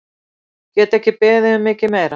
Get ekki beðið um mikið meira!